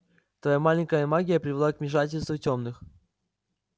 твоя маленькая магия привела к вмешательству тёмных